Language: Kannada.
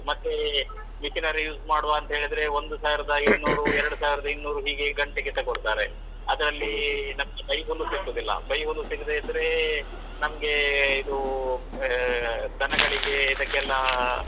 ಮತ್ತೆ machinery use ಮಾಡ್ವಾ ಅಂತ ಹೇಳಿದ್ರೆ ಒಂದು ಸಾವಿರದ ಇನ್ನೂರು ಎರಡು ಸಾವಿರದ ಇನ್ನೂರು ಹೇಗೆ ಗಂಟೆಗೆ ತಗೋಳ್ತಾರೆ. ಅದ್ರಲ್ಲಿ ನಮ್ಗೆ ಬೈಹುಲ್ಲು ಸಿಕ್ಕುದಿಲ್ಲ. ಬೈಹುಲ್ಲು ಸಿಗದೇ ಇದ್ರೆ ನಮ್ಗೆ ಇದು ಆಹ್ ದನಗಳಿಗೆ ಇದಕ್ಕೆಲ್ಲ. ಆಹ್.